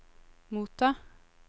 motta